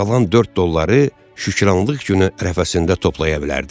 Qalan 4 dolları Şükranlıq günü rəfəsində toplaya bilərdi.